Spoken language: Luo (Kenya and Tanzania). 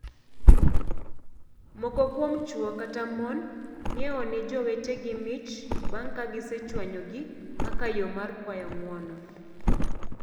Moko kuom chwo kata mon ng'iewone jowetegi mich bang' ka gisechwanyogi kaka yoo mar kwayo ng'uono.